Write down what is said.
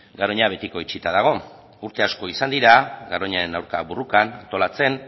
garoña betiko itxita dago urte asko izan dira garoñaren aurka borrokan antolatzen